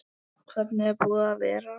Hvernig er búið að vera?